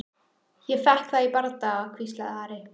Ég fékk það í bardaga, hvíslaði Ari.